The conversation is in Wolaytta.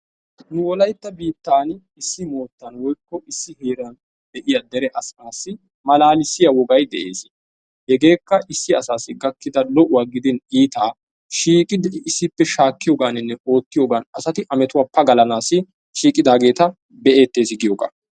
Nu wolayitta boottaani issi moottan woyikko issi heeran de'iya dere asaassi malaalissiya wogay de'ees. Hegeekka issi asaassi gakkida lo'uwa gidin iitaa shiiqidi issippe shaakkiyogaa gidin oottiyogan asati a metuwa pagalanaassi shiiqidaageeta be'eettes giyogaa.